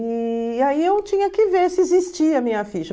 E aí eu tinha que ver se existia a minha ficha.